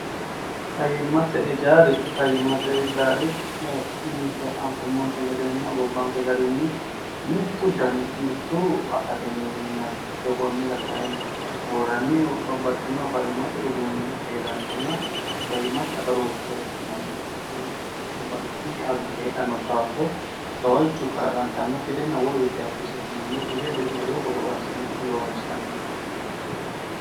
fayyimmate ijaari fayyimmate ijaari ninke anfummonte gedeenna gobbanke garinni mittu dani mittuu akatinni huhinnanni teokoonnira kayinni worranni babbaxxinoh fayyimate uduunni hee'rannonna fayyimate agarooshfira ikkitanno babbaxino xagga heedhanno daafoo gawajju kalaqantannokki gedenna wolu kikkisse hunannokki gede lowo qorowo assine loonsanni